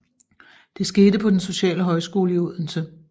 Det skete på Den Sociale Højskole i Odense